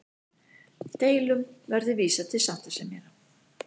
Deilum verði vísað til sáttasemjara